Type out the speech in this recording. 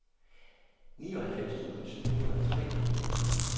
nioghalvfems tusind syv hundrede og tre